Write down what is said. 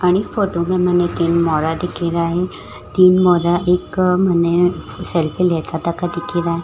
अणि photo में मने तीन मोरा दिखीराइ है तीन मोरा एक सेल्फी लेते थका दिखे रा।